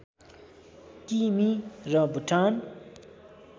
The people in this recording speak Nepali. किमि र भुटान